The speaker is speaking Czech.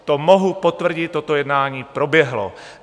To mohu potvrdit, toto jednání proběhlo.